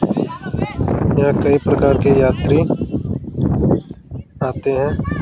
यहां कई प्रकार के यात्री आते हैं।